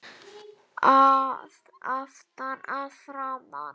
Að aftan, að framan?